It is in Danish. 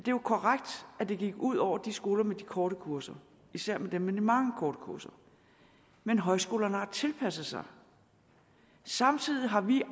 jo er korrekt at det gik ud over de skoler med de korte kurser især dem med de mange korte kurser men højskolerne har tilpasset sig samtidig har vi